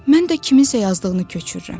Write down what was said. Mən də kiminsə yazdığını köçürürəm.